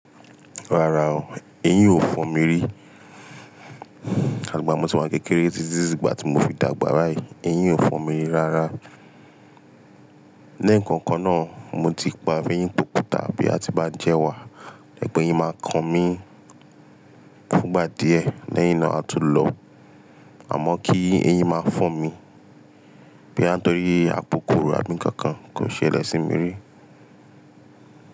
Rárá o, eyin o fọn mi ri. Àgbà mi ti wà ní kékeré títí di ìgbà tí mo fi dàgbà rà yí, eyin o fọn mi ri rárá. Ní ǹkan kan náà, mo ti pa eyín kòkó tàbí a ti ba jẹ́ wà, diẹ̀ pẹ̀ eyín máa kan mí fúngbà díẹ̀ léyìn iná a tó lọ̀, àmọ́ kí eyín máa fọn mi, bí a tó rí àkókò rà bí nkán kan kò ṣe ẹlẹ̀ sí mi ri.